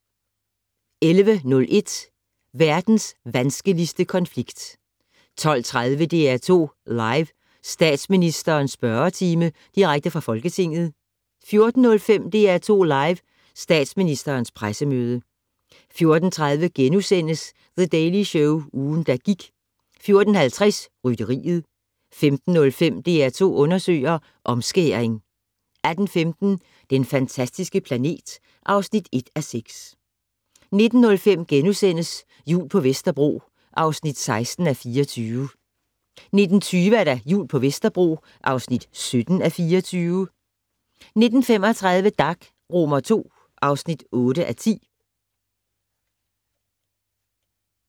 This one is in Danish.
11:01: Verdens vanskeligste konflikt 12:30: DR2 Live: Statsministerens spørgetime - direkte fra Folketinget 14:05: DR2 Live: Statsministerens pressemøde 14:30: The Daily Show - ugen, der gik * 14:50: Rytteriet 15:05: DR2 undersøger: Omskæring 18:15: Den fantastiske planet (1:6) 19:05: Jul på Vesterbro (16:24)* 19:20: Jul på Vesterbro (17:24) 19:35: Dag II (8:10)